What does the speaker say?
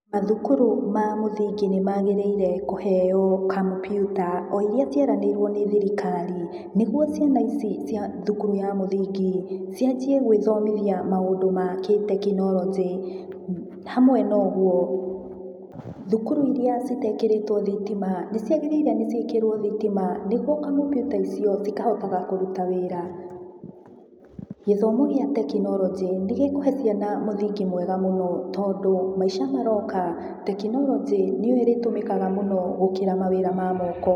Mathukuru ma mũthingi nĩmagĩrĩire kũheo kompyuta, o iria cieranĩirũo nĩ thirikari, nĩguo ciana ici cia thukuru wa mũthingi cianjie gũĩthomithia maũndu ma kĩ-tekinoronjĩ. Hamwe na ũguo thukuru iria itekĩrĩtũo thitima nĩciagĩrĩire nĩ ciĩkĩrwo thitima nĩguo kompyuta icio cikahotaga kũruta wĩra. Gĩthomo gĩa tekinoronjĩ nigĩkũhe ciana mũthingi mwega mũno tondu maica maroka tekinoronjĩ nĩyo ĩrĩtũmĩkaga mũno gũkĩra mawĩra ma moko.